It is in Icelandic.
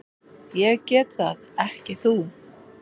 Ég get það, ekki þú.